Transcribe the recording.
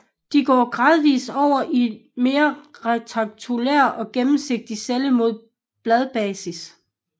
De går gradvist over i mere rektangulære og gennemsigtige celler mod bladbasis